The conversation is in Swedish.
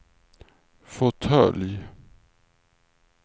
fåtölj